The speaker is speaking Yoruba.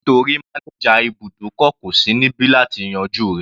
Nítorí manager ibùdókọ̀ kò sí níbi láti yanjú rẹ̀.